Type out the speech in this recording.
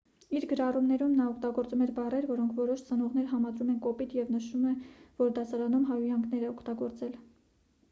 իր գրառումներում նա օգտագործում էր բառեր որոնք որոշ ծնողներ համարում են կոպիտ և նշվում է որ դասարանում հայհոյանքներ է օգտագործել